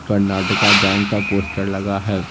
Karnataka Bank का poster लगा है।